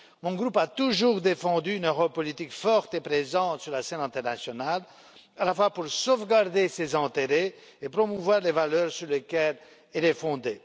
Mon groupe a toujours défendu une Europe politique forte et présente sur la scène internationale, à la fois pour sauvegarder ses intérêts et promouvoir les valeurs sur lesquelles elle est fondée.